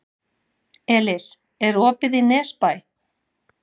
Elis, er opið í Nesbæ?